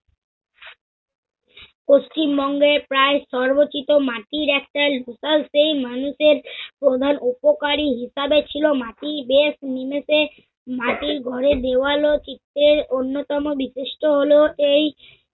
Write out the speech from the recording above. পশ্চিমবঙ্গের প্রায় সর্বচিত মাটির একটা local সেই মানুষের প্রধান উপকারি হিসাবে ছিল মাটি বেশ । মাটির ঘরের দেওয়াল ও চিত্রের অন্যতম বিশিষ্ট হল- এই